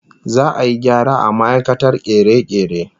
Za'a yi gyara ga ma'aikatar kere-kere